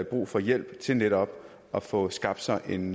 brug for hjælp til netop at få skabt sig en